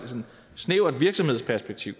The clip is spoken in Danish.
snævert virksomhedsperspektiv